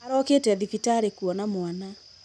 Arokĩte thibitarĩ kũona mwana.